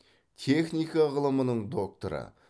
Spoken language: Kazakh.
техника ғылымының докторы